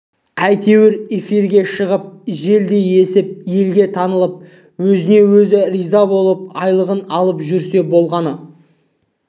әйтеуір эфирге шығып желдей есіп елге танылып өзіне-өзі риза болып айлығын алып жүрсе болғаны